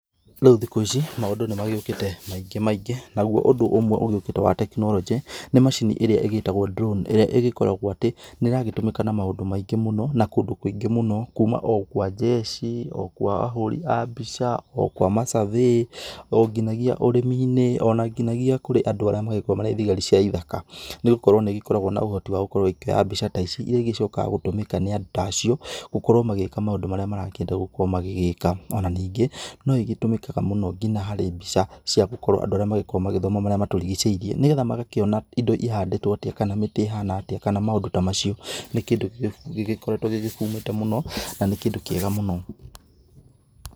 Rĩu thikũ ici maũndũ nĩmagĩũkĩte maingĩ maingĩ naguo ũndũ ũmwe ũgĩũkĩte wa tekinoronjĩ, nĩ macini ĩrĩa ĩgĩtagwo drone ĩrĩa ĩgĩkoragwo atĩ nĩragĩtũmĩka na maũndũ maingĩ mũno na kũndũ kũingĩ mũno, kuma o kwa jeshi, o kwa ahũri a mbica, o kwa ma survey, o nginyagia ũrĩmi-inĩ, ona nginyagia kũrĩ andũ arĩa makoragwo marĩ thigari cia ithaka, nĩgũkorwo nĩikoragwo na ũhoti wagũkorwo ikĩoya mbica ta ici iria ĩgĩcokaga gũtũmĩka nĩ andũ ta acio, gũkorwo magĩka maũndũ marĩa marakĩenda gũgĩkorwo magĩka. Ona ningĩ no nĩgĩtũmĩkaga mũno nginya harĩ mbica cia gũkorwo andũ arĩa makoragwo magĩthoma marĩa matũrigicĩirie, nĩgetha magakĩona indo ihandĩtwo atĩa kana mĩtĩ ĩhana atĩa kana maũndũ ta macio. Nĩ kĩndũ gĩgĩkoretwo gĩgĩbumĩte mũno na nĩ kĩndũ kĩega mũno.